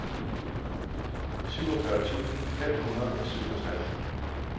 syvogfyrre tusind fem hundrede og syvogtres